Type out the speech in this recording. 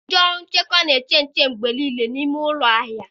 Ndị ọrụ nchekwa na-eche nche mgbe niile n'ime ụlọ ahịa